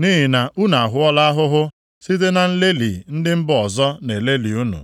nʼihi na unu ahụọla ahụhụ site na nlelị ndị mba ọzọ na-elelị unu.